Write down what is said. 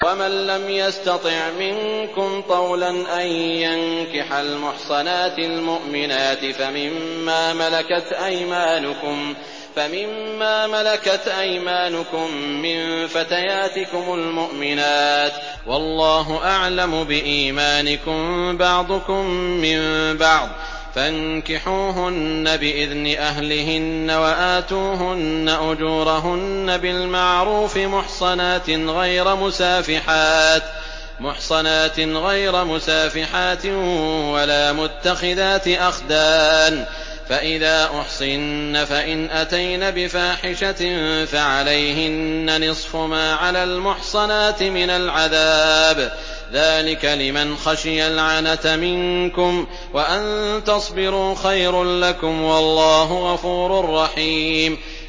وَمَن لَّمْ يَسْتَطِعْ مِنكُمْ طَوْلًا أَن يَنكِحَ الْمُحْصَنَاتِ الْمُؤْمِنَاتِ فَمِن مَّا مَلَكَتْ أَيْمَانُكُم مِّن فَتَيَاتِكُمُ الْمُؤْمِنَاتِ ۚ وَاللَّهُ أَعْلَمُ بِإِيمَانِكُم ۚ بَعْضُكُم مِّن بَعْضٍ ۚ فَانكِحُوهُنَّ بِإِذْنِ أَهْلِهِنَّ وَآتُوهُنَّ أُجُورَهُنَّ بِالْمَعْرُوفِ مُحْصَنَاتٍ غَيْرَ مُسَافِحَاتٍ وَلَا مُتَّخِذَاتِ أَخْدَانٍ ۚ فَإِذَا أُحْصِنَّ فَإِنْ أَتَيْنَ بِفَاحِشَةٍ فَعَلَيْهِنَّ نِصْفُ مَا عَلَى الْمُحْصَنَاتِ مِنَ الْعَذَابِ ۚ ذَٰلِكَ لِمَنْ خَشِيَ الْعَنَتَ مِنكُمْ ۚ وَأَن تَصْبِرُوا خَيْرٌ لَّكُمْ ۗ وَاللَّهُ غَفُورٌ رَّحِيمٌ